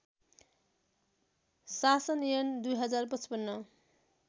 शासन ऐन २०५५